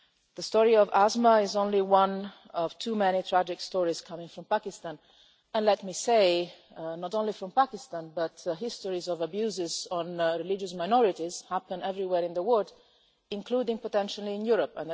The story of Asma is only one of too many tragic stories coming from Pakistan and let me say, not only from Pakistan but these stories of abuses on religious minorities happen everywhere in the world, including potentially in Europe.